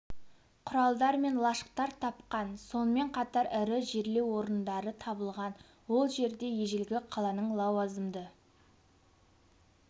құралдар мен лашықтар тапқан сонымен қатар ірі жерлеу орындары табылған ол жерде ежелгі қаланың лауазымды